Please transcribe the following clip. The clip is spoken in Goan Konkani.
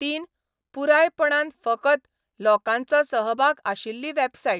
तीन, पुरायपणान फकत लोकांचो सहभाग आशिल्ली वॅबसायट.